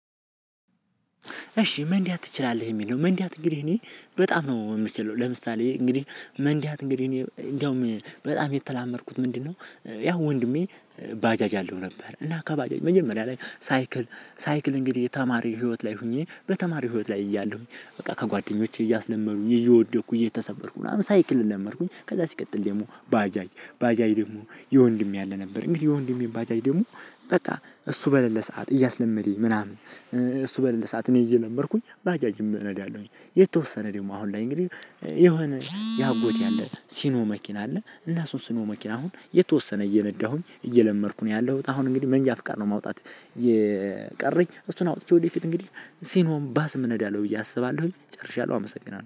እሺ መንዳት ትችላለህ የሚል ነው። መንዳት እንግዲህ እኔ በጣም ነው የምችለው ለምሳሌ እንግዲህ መንዳት እንግዲህ እኔ እንደውም በጣም የተለማመድኩት ምንድነው? ያው ወንድሜ ባጃጅ አለው ነበር እና ከባጃጅ መጀመሪያ ላይ ሳይክል ሳይክል እንግዲህ የተማሪ ህይወት ላይ ሁኜ በተማሪ ህይወት ላይ እያለሁኝ በቃ ከጓደኞቼ እያስለመዱኝ እየወደኩኝ እየተሰበርኩኝ ምናምን ሳይክል ለመድኩኝ። ከዛ ሲቀጥል ደግሞ ባጃጅ ባጃጅ ደግሞ የወንድሜ አለ ነበር እንግዲህ የወንድሜን ባጃጅ ደግሞ በቃ እሱ በለላ ሰዓት እያስለመደኝ ምናምን። እሱ በለላ ሰዓት እኔ እየለመድኩኝ ባጃጅም እነዳለውሁኝ የተወሰነ ደግሞ አሁን ላይ እንግዲህ የሆነ የአጎቴ ያለ ሲኖ መኪና አለ እና እሱን ሲኖ መኪና አሁን የተወሰነ እየነዳሁኝ እየለመድኩ ነው ያለሁት። አሁን እንግዲህ መንጃ ፍቃድ ነው ማውጣት። የቀረኝ እሱን አውጥቼ ወደፊት እንግዲህ ሲኖም ባስም እነዳለሁ ብዬ አስባለሁኝ። ጨርሻለሁ አመሰግናለሁ